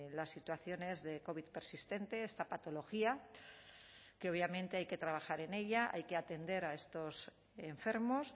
las situaciones de covid persistente esta patología que obviamente hay que trabajar en ella hay que atender a estos enfermos